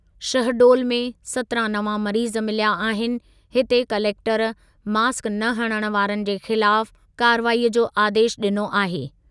शहडोल में सत्रहं नवां मरीज मिलिया आहिनि, हिते कलेक्टर मास्क न हणणु वारनि जे ख़िलाफ़ कार्रवाई जो आदेशु ॾिनो आहे।